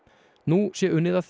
nú sé unnið að